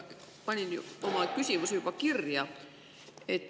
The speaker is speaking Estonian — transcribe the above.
Panin oma küsimuse juba kirja.